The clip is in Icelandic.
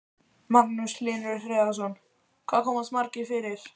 Magnús Hlynur Hreiðarsson: Hvað komast margir fyrir?